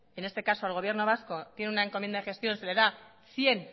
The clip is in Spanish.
en este caso el gobierno vasco tiene una encomienda gestión se le da cien